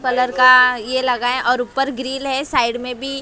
colour का ये लगा है और ऊपर ग्रिल है साइड में भी--